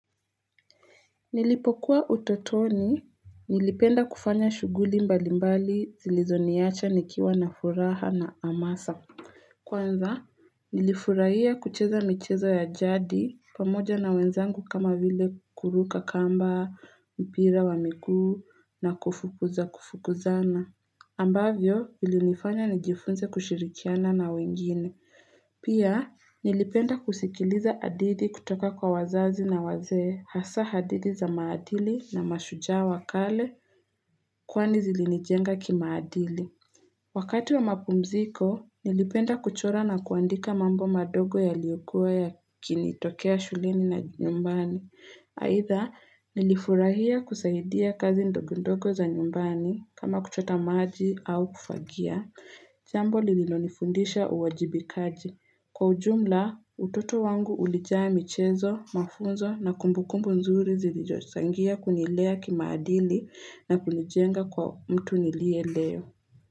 Nilipokuwa utotoni, nilipenda kufanya shughuli mbalimbali zilizoniacha nikiwa na furaha na hamasa. Kwanza, nilifurahia kucheza michezo ya jadi pamoja na wenzangu kama vile kuruka kamba, mpira wa miguu na kufukuza kufukuzana. Ambavyo, vilinifanya nijifunze kushirikiana na wengine. Pia nilipenda kusikiliza hadithi kutoka kwa wazazi na wazee hasa hadithi za maadili na mashujaa wa kale kwani zilinijenga kimaadili. Wakati wa mapumziko nilipenda kuchora na kuandika mambo madogo yaliyokua yakinitokea shuleni na nyumbani. Aidha nilifurahia kusaidia kazi ndogondogo za nyumbani kama kuchota maji au kufagia. Jambo lililonifundisha uwajibikaji. Kwa ujumla, utoto wangu ulijaa michezo, mafunzo na kumbukumbu nzuri zilizochangia kunilea kimaadili na kunijenga kuwa mtu niliye leo.